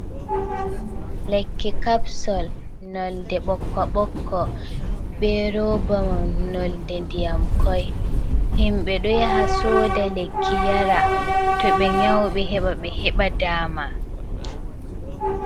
lekki kapsol ,nolde ɓokko bokko ,be robamai nolde ndiyam koi .himɓe do yaha soda lekki yara to ɓe nyauɓe heɓa ɓe heɓa daama.